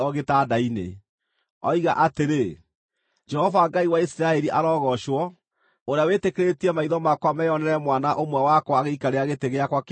oiga atĩrĩ, ‘Jehova Ngai wa Isiraeli arogoocwo, ũrĩa wĩtĩkĩrĩtie maitho makwa meyonere mwana ũmwe wakwa agĩikarĩra gĩtĩ gĩakwa kĩa ũnene ũmũthĩ.’ ”